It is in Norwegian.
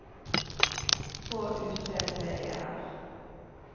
K U T T E R